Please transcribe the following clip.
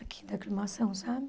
Aqui da Aclimação, sabe?